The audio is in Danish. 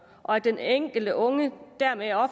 og at den enkelte unge dermed